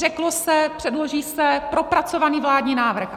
Řeklo se, předloží se propracovaný vládní návrh.